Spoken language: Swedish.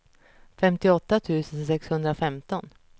femtioåtta tusen sexhundrafemton